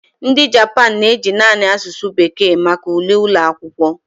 Ndị Japan na-eji naanị asụsụ bekee maka ule ụlọ akwụkwọ.